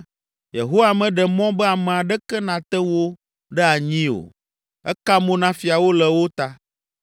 Yehowa meɖe mɔ be ame aɖeke nate wo ɖe anyi o Eka mo na fiawo le wo ta